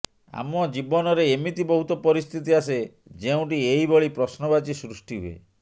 ଆମ ଜୀବନରେ ଏମିତି ବହୁତ ପରିସ୍ଥିତି ଆସେ ଯେଉଁଟି ଏହିଭଳି ପ୍ରଶ୍ନବାଚୀ ସୃଷ୍ଟି ହୁଏ